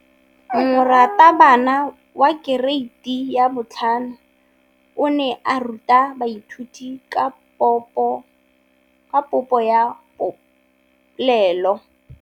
Moratabana wa kereiti ya 5 o ne a ruta baithuti ka popô ya polelô.